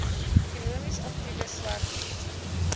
ekonomies aktiewe swartmense